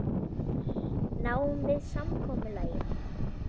Náum við samkomulagi?